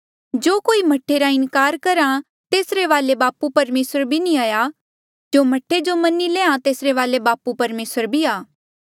जो कोई मह्ठा रा इनकार करहा तेसरे वाले बापू परमेसर भी नी आ जो मह्ठा जो मनी लैहां तेसरे वाले बापू परमेसर भी आ